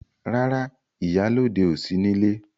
Rárá, ìyálọ́de ò sí nílé.